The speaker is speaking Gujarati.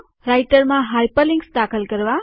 રાઈટરમાં હાઇપરલિન્ક્સ દાખલ કરવા